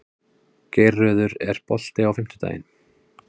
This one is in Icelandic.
Geirröður, er bolti á fimmtudaginn?